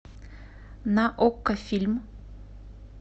на окко фильм